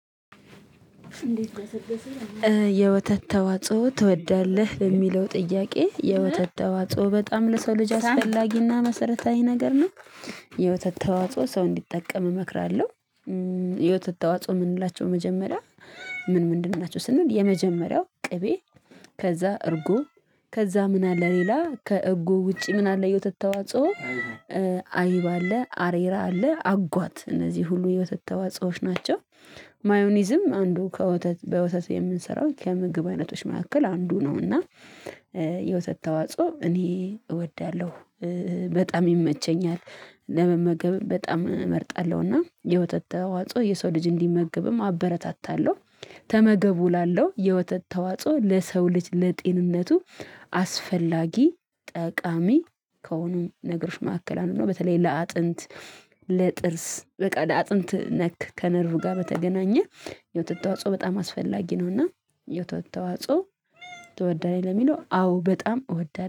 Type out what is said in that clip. የወተት ተዋጽኦ ትወዳለህ በሚለው ጥያቄ የወተት ተዋጽኦ በጣም ለሰው ልጅ አስፈላጊና መሰረታዊ ነገር ነው። የወተት ተዋጽኦ ሰው እንዲጠቀም እመክራለሁ። የወተት አዋጽኦ የምንላቸው መጀመሪያ ምን ምንድን ናቸው ስንል የመጀመሪያው ቅቤ። ከዛ እርጉ። ከዛ ምን አለ ሌላ ከእርጉ ውጪ ምን አለ የወተት ተዋጽኦ? አይብ አለ አሬራ አለ አጓት እነዚህ ሁሉ የወተት ተዋጽኦዎች ናቸው። ማዮኒዝም አንዱ ከወተት በወተት የምንሰራው ከምግብ አይነቶች መካከል አንዱ ነው። እና። የወተት ተዋጽኦ እኔ እወዳለሁ። በጣም ይመቸኛል። ለመመገብ በጣም እመርጣለሁና የወተት ተዋጽኦ የሰው ልጅ እንዲመግብም አበረታታለሁ። ተመገቡ እላለሁ የወተት ተዋጽኦ ለሰው ልጅ ለጤንነቱ አስፈላጊ ጠቃሚ ከሆኑም ነገሮች መካከል አንዱ ነው። በተለይ ለአጥንት ለጥርስ በቃ ለአጥንት ነክ ከነርቭ ጋር በተገናኘ የውጤት አዋጽኦ በጣም አስፈላጊ ነውና። የወተት ተዋጽኦ ትወዳለህ? ለሚለው አዎ በጣም እወዳለሁ